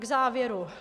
K závěru.